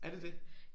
Er det det?